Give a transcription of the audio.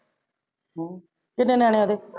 ਹਾ ਕਿੰਨੇ ਨਿਆਣੇ ਆ ਓਦੇ?